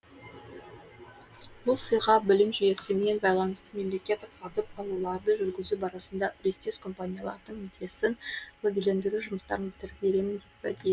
бұл сыйға білім жүйесімен байланысты мемлекеттік сатып алуларды жүргізу барысында үлестес компаниялардың мүддесін лоббилендіру жұмыстарын бітіріп беремін деп уәде